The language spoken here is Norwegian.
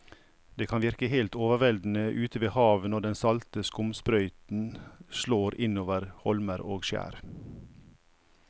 Det kan virke helt overveldende ute ved havet når den salte skumsprøyten slår innover holmer og skjær.